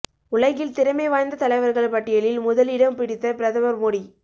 உலகில் திறமை வாய்ந்த தலைவர்கள் பட்டியலில் முதலிடம் பிடித்த பிரதமர் மோடி